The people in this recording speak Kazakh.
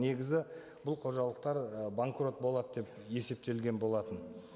негізі бұл қожалықтар і банкрот болады деп есептелген болатын